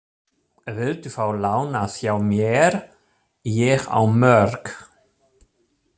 Viltu fá lánað hjá mér, ég á mörg!